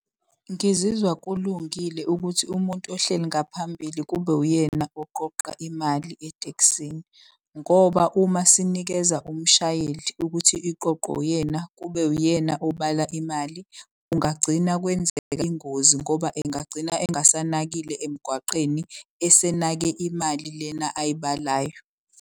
Ngizizwa kulungile ukuthi umuntu ohleli ngaphambili kube uyena oqoqa imali etekisini. Ngoba uma sinikeza umshayeli ukuthi iqoqo uyena kube uyena obala imali. Kungagcina kwenzeka ingozi ngoba engagcina engasanakile emgwaqeni esenake imali lena ayibalayo.